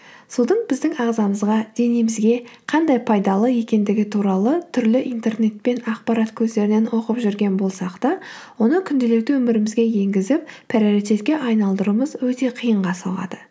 судың біздің ағзамызға денемізге қандай пайдалы екендігі туралы түрлі интернет пен ақпарат көздерінен оқып жүрген болсақ та оны күнделікті өмірімізге енгізіп приоритетке айналдыруымыз өте қиынға соғады